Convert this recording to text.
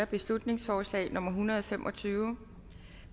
beslutningsforslag nummer hundrede og fem og tyve